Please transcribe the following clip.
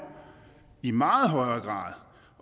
i meget højere grad